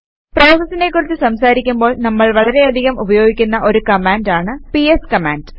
പ്രോസസസിനെ കുറിച്ച് സംസാരിക്കുമ്പോൾ നമ്മൾ വളരെയധികം ഉപയോഗിക്കുന്ന ഒരു കമാൻഡ് ആണ് പിഎസ് കമാൻഡ്